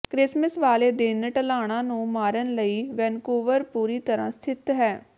Christmas ਵਾਲੇ ਦਿਨ ਢਲਾਣਾਂ ਨੂੰ ਮਾਰਨ ਲਈ ਵੈਨਕੂਵਰ ਪੂਰੀ ਤਰ੍ਹਾਂ ਸਥਿਤ ਹੈ